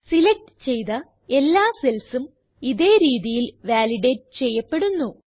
select ചെയ്ത എല്ലാ cellsഉം ഇതേ രീതിയിൽ വാലിഡേറ്റ് ചെയ്യപ്പെടുന്നു